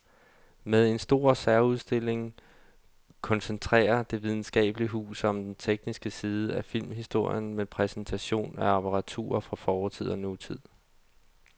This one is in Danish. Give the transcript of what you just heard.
Med en stor særudstilling koncentrerer det videnskabelige hus sig om den tekniske side af filmhistorien med præsentation af apparatur fra fortid og nutid.